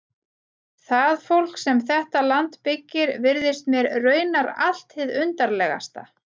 Það fólk sem þetta land byggir virðist mér raunar allt hið undarlegasta.